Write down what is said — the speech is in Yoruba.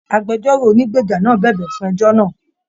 Agbẹ̀jọ́ro ònígbeja náà bẹbẹ fún ẹjọ náà.